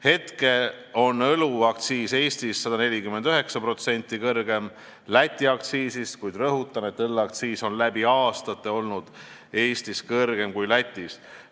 Hetkel on õlleaktsiis Eestis 149% kõrgem Läti aktsiisist, kuid rõhutan, et õlleaktsiis on läbi aastate olnud Eestis kõrgem kui Lätis.